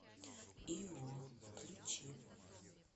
ио включи